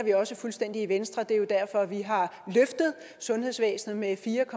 vi også fuldstændig i venstre det er jo derfor vi har løftet sundhedsvæsenet med fire